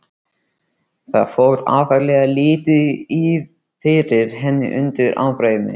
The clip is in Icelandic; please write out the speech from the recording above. Það fór ákaflega lítið fyrir henni undir ábreiðunni.